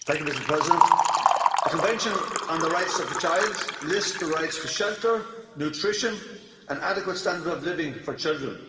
Mr President, the Convention on the Rights of the Child lists the rights to shelter, nutrition and an adequate standard of living for children.